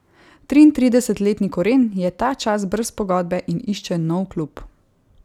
Triintridesetletni Koren je ta čas brez pogodbe in išče nov klub.